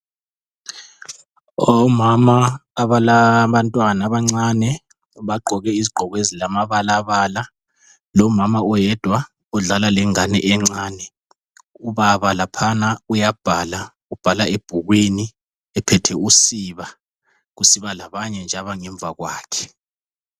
Omama abalabantwana abancane bagqoke izigqoko ezilamabalabala lomama oyedwa odlala lengane encane. Ubaba laphana uyabhala, ubhala ebhukwini ephethe usiba, kusiba labanye nje abangemva kwakhe.